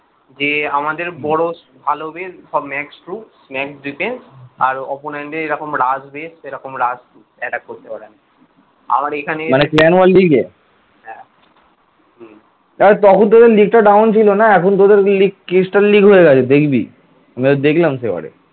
হ্যাঁ তখন থেকে league down ছিল না এখন তোদের league cristal league হয়ে গেছে দেখবি । ব্যাস দেখলাম সে বারে